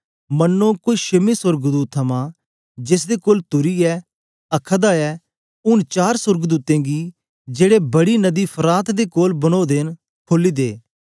मनो कोई छेमे सोर्गदूत थमा जेसदे कोल तुरी हे आखादा ऐ ऊन चार सुर्गदूतें गी जेड़े बड़ी नदी फरात दे कोल बनोदे न खोली दे